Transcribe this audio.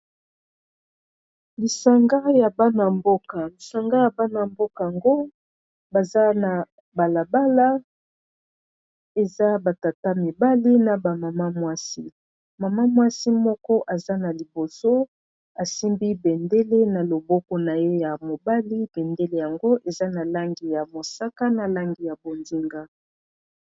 lisanga ya bana-mbokaango baza na balabala eza batata mibali na bamama mwasi mama mwasi moko aza na liboso asimbi bendele na loboko na ye ya mobali bendele yango eza na langi ya mosaka na langi ya bondinga